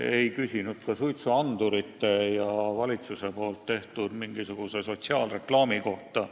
Ei küsitud ka suitsuandurite ega mingisuguse valitsuse tehtud sotsiaalreklaami kohta.